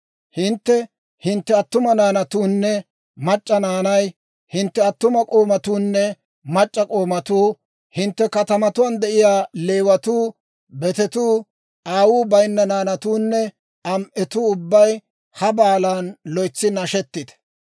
Hintte, hintte attuma naanatuunne mac'c'a naanay, hintte attuma k'oomatuunne mac'c'a k'oomatuu, hintte katamatuwaan de'iyaa Leewatuu, betetuu, aawuu bayinna naanatuunne am"etuu ubbay ha baalan loytsi nashetite.